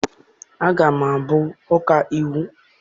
Aga m abụ ọkaiwu.